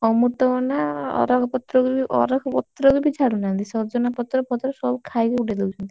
ଅମୃତ ଭଣ୍ଡା ଅରକ୍ଷ ପତ୍ର କୁ ବି ଅରକ୍ଷ ପତ୍ର କୁ ବି ଛାଡୁନାହାନ୍ତି ସବୁ ଖାଇକି ଉଡେଇ ଦଉଛନ୍ତି।